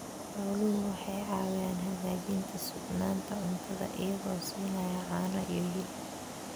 Xooluhu waxay caawiyaan hagaajinta sugnaanta cuntada iyagoo siinaya caano iyo hilib.